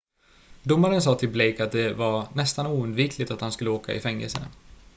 "domaren sa till blake att det var "nästan oundvikligt" att han skulle åka i fängelse.